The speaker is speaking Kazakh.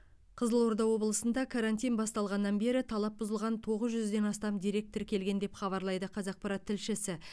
қызылорда облысында карантин басталғаннан бері талап бұзылған тоғыз жүзден астам дерек тіркелген деп хабарлайды қазақпарат тілшісі